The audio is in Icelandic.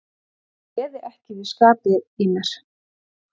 Ég réði ekki við skapi í mér.